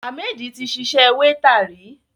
Hammed ti ṣiṣẹ́ wéétà rí.